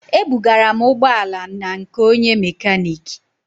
Ebugara m ụgbọ ala na nke onye mekaniki